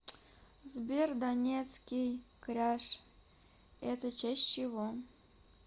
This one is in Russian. сбер донецкий кряж это часть чего